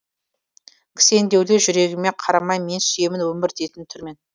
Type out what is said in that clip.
кісендеулі жүрегіме қарамай мен сүйемін өмір дейтін түрмені